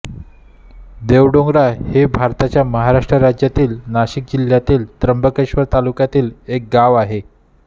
देवडोंगरा हे भारताच्या महाराष्ट्र राज्यातील नाशिक जिल्ह्यातील त्र्यंबकेश्वर तालुक्यातील एक गाव आहे